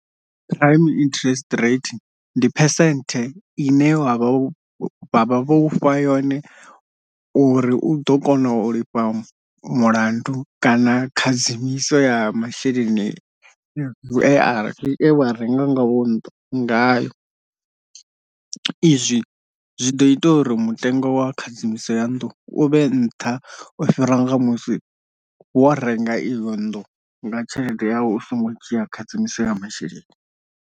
Prime interest rate ndi percent ine wavha vhavha vho ufha yone uri u ḓo kona u lifha mulandu kana khadzimiso ya masheleni e a e wa renga nga wo nnḓu ngayo, izwi zwi ḓo ita uri mutengo wa khadzimiso ya nnḓu u vhe nṱha u fhira nga musi wo renga iyo nnḓu nga tshelede yau u songo dzhia khadzimiso ya masheleni.